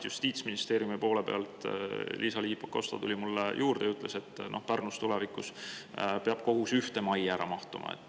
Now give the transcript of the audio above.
Justiitsministeeriumi Liisa-Ly Pakosta tuli minu juurde ja ütles, et Pärnus peab kohus tulevikus ühte majja ära mahtuma.